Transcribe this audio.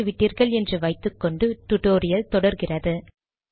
பார்த்துவிட்டீர்கள் என்று வைத்துக்கொண்டு டுடோரியல் தொடருகிறது